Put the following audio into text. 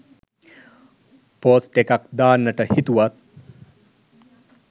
post එකක් දාන්ට හිතුවත්